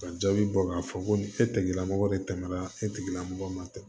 Ka jaabi bɔ k'a fɔ ko ni e tɛgɛla mɔgɔ de tɛmɛ na e tigila mɔgɔ ma